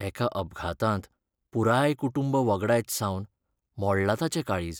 एका अपघातांत पुराय कुटूंब वगडायत सावन मोडलां ताचें काळीज.